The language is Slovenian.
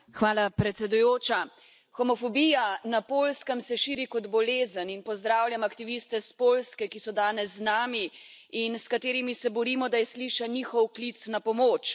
Gospa predsedujoča! Homofobija na Poljskem se širi kot bolezen in pozdravljam aktiviste iz Poljske, ki so danes z nami, in s katerimi se borimo, da je slišan njihov klic na pomoč.